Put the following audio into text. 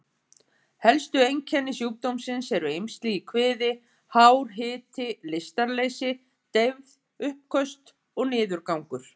Helstu einkenni sjúkdómsins eru eymsli í kviði, hár hiti, lystarleysi, deyfð, uppköst og niðurgangur.